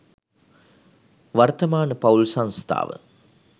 වර්තමාන පවුල් සංස්ථාව